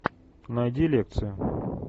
найди лекцию